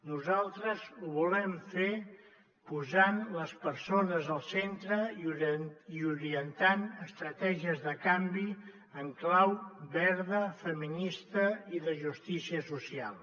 nosaltres ho volem fer posant les persones al centre i orientant estratègies de canvi en clau verda feminista i de justícia social